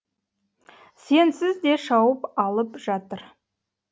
сенсіз де шауып алып жатыр